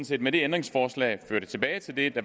set med ændringsforslaget føre det tilbage til det det